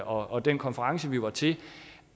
og den konference vi var til